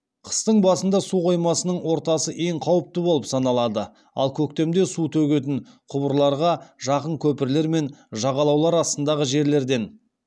қыстың басында су қоймасының ортасы ең қауіпті болып саналады ал көктемде су төгетін құбырларға жақын көпірлер мен жағалаулар астындағы жерлерден